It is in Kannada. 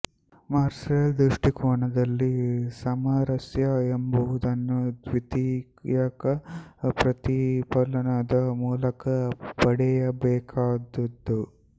ಮಾರ್ಸೆಲ್ ದೃಷ್ಟಿಕೋನದಲ್ಲಿ ಸಾಮರಸ್ಯ ಎಂಬುದನ್ನು ದ್ವಿತೀಯಕ ಪ್ರತಿಫಲನದ ಮೂಲಕ ಪಡೆಯಬೇಕಾದದ್ದು